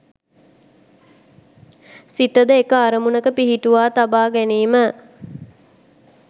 සිතද එක අරමුණක පිහිටුවා තබා ගැනීම